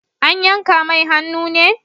An yanka mai hannu ne?